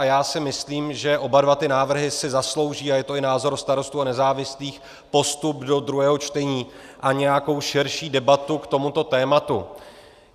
A já si myslím, že oba dva ty návrhy si zaslouží - a je to i názor Starostů a nezávislých - postup do druhého čtení a nějakou širší debatu k tomuto tématu.